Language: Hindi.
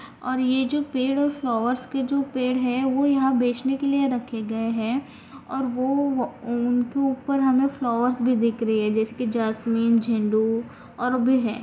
और ये जो पेड़ और फ्लावर्स के जो पेड़ है वो यहाँ बेचने के लिए रखे गए है और वो अं उनके ऊपर हमें फ्लावर्स भी दिख रहे है जैसे की जैस्मिन झेंडू और भी है।